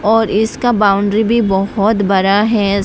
और इसका बाउंड्री भी बहोत बड़ा है।